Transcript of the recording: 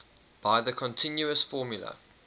by the continuous formula